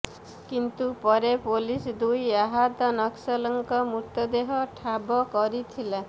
କିନ୍ତୁ ପରେ ପୋଲିସ ଦୁଇ ଆହତ ନକ୍ସଲଙ୍କ ମୃତଦେହ ଠାବ କରିଥିଲା